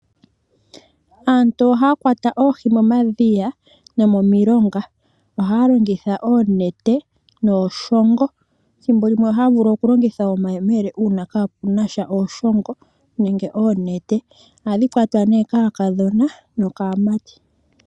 Aantu ohaya kwata oohi momadhiya no momilonga. Ohaya longitha oonete nooshongo. Dhimbolimwe ohaya vulu okulongitha omayemele uuna kapunasha ooshongo nenge oonete. Ohadhi kwatwa nee kaakadhona nokaamati.